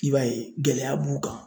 I b'a ye gɛlɛya b'u kan